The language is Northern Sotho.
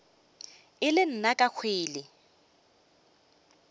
e le nna ke kwele